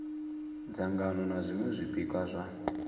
dzangano na zwiṅwe zwipikwa zwa